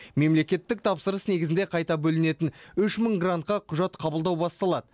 мемлекеттік тапсырыс негізінде қайта бөлінетін үш мың грантқа құжат қабылдау басталады